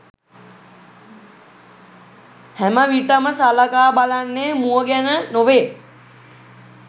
හැමවිට ම සලකා බලන්නේ මුව ගැන නො වේ.